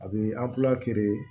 A bɛ